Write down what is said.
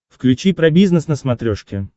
включи про бизнес на смотрешке